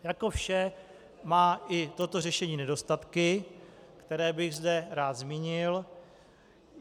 Jako vše má i toto řešení nedostatky, které bych zde rád zmínil.